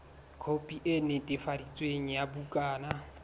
khopi e netefaditsweng ya bukana